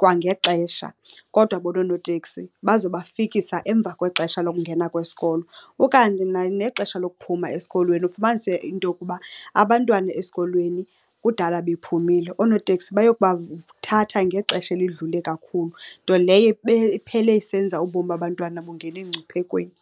kwangexesha kodwa bona oonoteksi bazobafikisa emva kwexesha lokungena kwesikolo. Ukanti nexesha lokuphuma esikolweni, ufumanise into yokuba abantwana esikolweni kudala bephumile, oonoteksi bayokubathatha ngexesha elidlule kakhulu. Nto leyo iphele isenza ubomi babantwana bungene emngciphekweni.